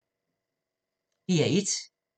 DR1